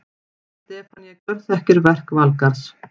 Stefanía gjörþekki verk Valgarðs.